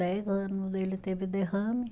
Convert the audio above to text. Dez anos ele teve derrame.